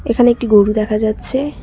এখানে একটি গরু দেখা যাচ্ছে।